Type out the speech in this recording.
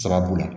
Sababu la